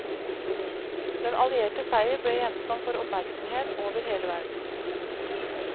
Den allierte seier ble gjenstand for oppmerksomhet over hele verden.